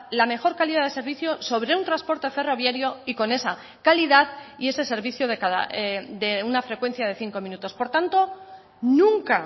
la mejor calidad de servicio sobre un transporte ferroviario y con esa calidad y ese servicio de una frecuencia de cinco minutos por tanto nunca